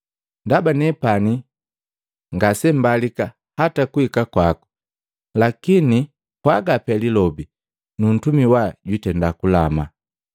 Ndaba nepani ngase mbalika hata kuhika kwako. Lakini pwaga pee lilobi, nu ntumi wa jwiitenda kulama.